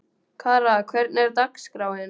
Kara, hvernig er dagskráin?